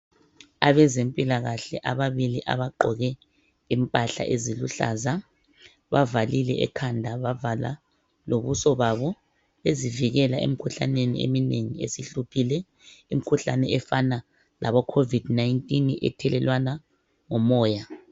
Abezempilakahle ababili abagqoke impahla eziluhlaza bavalile ekhanda bavala lobuso babo bezivikela emikhuhlaneni eminengi esihluphile imikhuhlane efana laboCovid 19 ethelelwana ngomoya.